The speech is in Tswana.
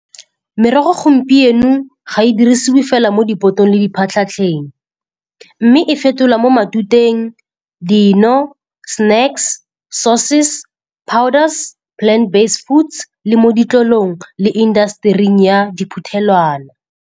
Merogo gompieno ga e dirisiwe fela mo dipotong le diphatlhatlheng. Mme e fetola mo matuteng, dino, snacks, sauces, powders, plant based foods le mo ditlolong le industry-eng ya diphuthelwana.